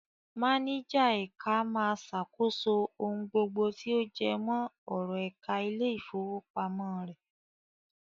Máníjà ẹ̀ka máa ṣàkóso ohun gbogbo tí ó jẹmọ́ ọ̀rọ̀ ẹ̀ka ilé-ìfowópamọ́ rẹ̀.